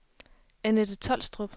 Anette Tolstrup